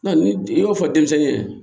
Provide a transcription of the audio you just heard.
ni i y'o fɔ denmisɛnnin ye